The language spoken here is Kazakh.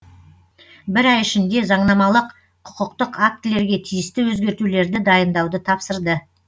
бір ай ішінде заңнамалық құқықтық актілерге тиісті өзгертулерді дайындауды тапсырды